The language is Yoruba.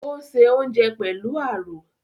Ò ń se oúnjẹ pẹ̀lú àrò